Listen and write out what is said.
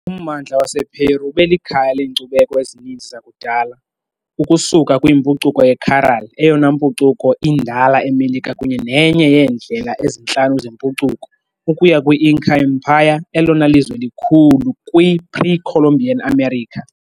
Ummandla wasePeru ube likhaya leenkcubeko ezininzi zakudala, ukusuka kwimpucuko yeCaral, eyona mpucuko indala eMelika kunye nenye yeendlela ezintlanu zempucuko, ukuya kwi- Inca Empire, elona lizwe likhulu kwi- pre-Columbian America .